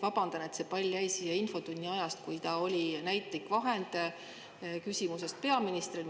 Vabandan, et see pall jäi siia infotunni ajast, kus ta oli näitlik vahend küsimuse esitamisel peaministrile.